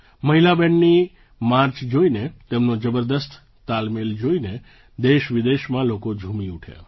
મહિલા બૅન્ડની માર્ચ જોઈને તેમનો જબરદસ્ત તાલમેળ જોઈને દેશવિદેશમાં લોકો ઝૂમી ઉઠ્યા